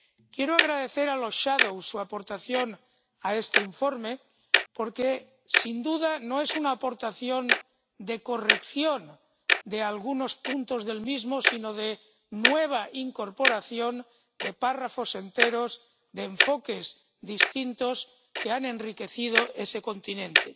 Quiero agradecer a los ponentes alternativos su aportación a este informe porque, sin duda, no es una aportación de corrección de algunos puntos del mismo sino de nueva incorporación de párrafos enteros, de enfoques distintos, que han enriquecido ese continente.